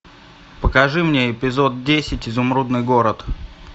покажи мне эпизод десять изумрудный город